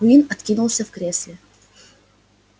куинн откинулся в кресле